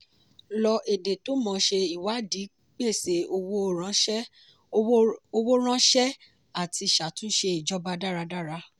lo èdè tó mọ́ ṣe ìwádìí pèsè owó ránṣẹ́ àti ṣàtúnṣe ìjọba dáradára.